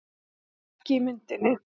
Það er ekki í myndinni